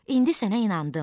İndi sənə inandım.